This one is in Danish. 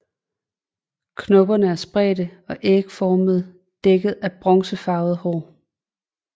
Knopperne er spredte og ægformede dækket af bronzefarvede hår